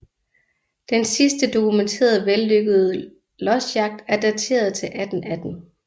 Den sidste dokumenterede vellykkede losjagt er dateret til 1818